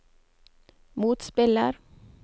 motspiller